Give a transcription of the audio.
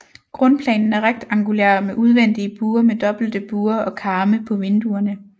Grundplanen er rektangulær med udvendige buer med dobbelte buer og karme på vinduerne